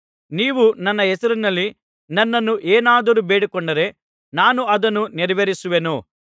ನೀವು ನನ್ನ ಹೆಸರಿನಲ್ಲಿ ನನ್ನನ್ನು ಏನಾದರೂ ಬೇಡಿಕೊಂಡರೆ ನಾನು ಅದನ್ನು ನೆರವೇರಿಸುವೆನು